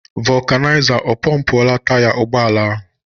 Vokunaiza ọ pompuora taya ụgbọala ahụ?